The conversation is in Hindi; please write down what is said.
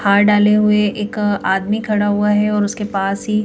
हार डाले हुए एक आदमी खड़ा हुआ है और उसके पास ही--